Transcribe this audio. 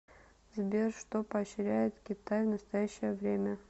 сбер что поощряет китай в настоящее время